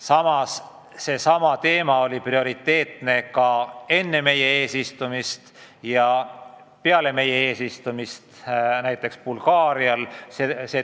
Samas oli see teema prioriteetne ka enne meie eesistumist ja peale meie eesistumist Bulgaarial.